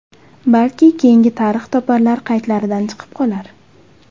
Balki keyingi tarix toparlar qaydlaridan chiqib qolar...